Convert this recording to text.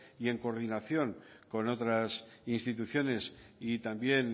y en coordinación con otras instituciones y también